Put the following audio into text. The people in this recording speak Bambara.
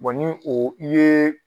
ni o i ye.